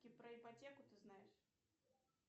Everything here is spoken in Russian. про ипотеку ты знаешь